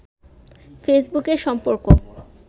ফেসবুকে সম্পর্ক